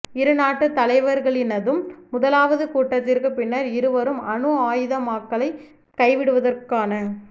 இரு நாட்டுத் தலைவர்களினதும் முதலாவது கூட்டத்திற்குப் பின்னர் இருவரும் அணு ஆயுதமாக்கலைக் கைவிடுவதற்கான